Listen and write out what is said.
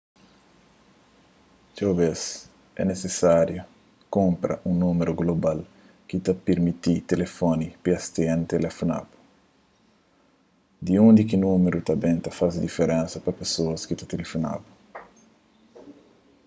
txeu bez é nisisáriu kunpra un númeru global ki ta pirmiti tilifoni pstn tilifona-bu di undi ki númeru ta ben ta faze diferensa pa pesoas ki ta tilifona-bu